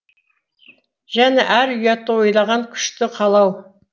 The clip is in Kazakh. және ар ұятты ойлаған күшті қалау